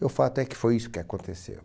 E o fato é que foi isso que aconteceu.